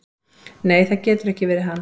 """Nei, það getur ekki verið hann."""